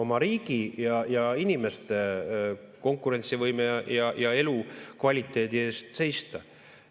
–, oma riigi ja inimeste konkurentsivõime ja elukvaliteedi eest seista.